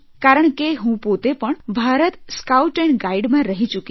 કારણ કે હું પોતે પણ ભારતની સ્કાઉટ એન્ડ ગાઇડમાં રહી ચૂકી છું